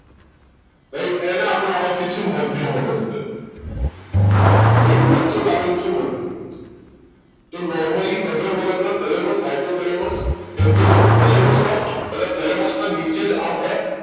right એને આપણે ઓળખી એ છીએ મધ્ય મગજ તરીકે right વચ્ચે જ આવેલું છે મધ્ય મગજ તે normally અગ્ર મગજ ના thalamushypothalamus કેમ કે જો thalamus ના નીચે જ આમ હોય